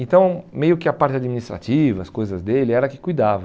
Então, meio que a parte administrativa, as coisas dele, ela que cuidava.